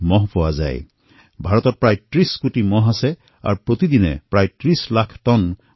ভাৰতত পশুৰ আবাদী প্ৰায় ৩০ কোটি আৰু উৎপাদিত গোবৰ প্ৰতিদিনে প্ৰায় ৩০ লাখ টন